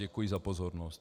Děkuji za pozornost.